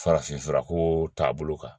Farafinfurako taabolo kan